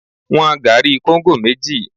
Wọn gari kóńgò méjì!